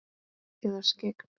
Eða skyggn?